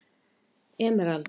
Emerald